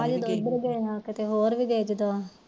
ਕਿਤੇ ਹੋਰ ਗਏ